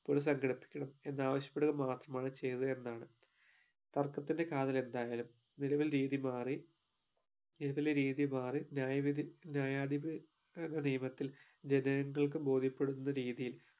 ഇപ്പോൾ സങ്കടിപ്പിക്കണം എന്നാവശ്യപ്പെടുക മാത്രമാണ് ചെയ്തത് എന്നാണ് തർക്കത്തിന്റെ കാതൽ എന്തായാലും നിലവിൽ രീതി മാറി നിലവിലെ രീതി മാറി ന്യായവിധി ന്യായാധിപ ഏർ ധിപത്തിൽ ജനങ്ങൾക്കു ബോധ്യപ്പെടുന്ന രീതിയിൽ